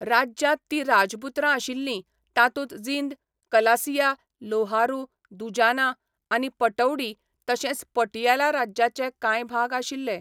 राज्यांत जीं राजपुत्रां आशिल्लीं, तातूंत जिंद, कलसिया, लोहारू, दुजाना आनी पटौडी तशेंच पटियाला राज्याचे कांय भाग आशिल्ले.